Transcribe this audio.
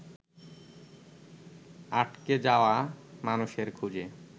আটকে যাওয়া মানুষের খোজে